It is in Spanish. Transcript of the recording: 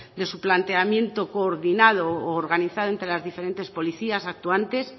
de su planteamiento coordinado u organizado entre las diferentes policías actuantes